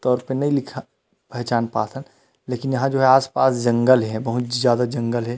तौर पर नहीं लिखा पहचान पात हन लेकिन यहाँ जो है आस-पास जंगल हे बहुत ज्यादा जंगल हे।